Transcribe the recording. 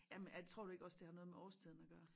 Jamen er tror du ikke også det har noget med årstiden at gøre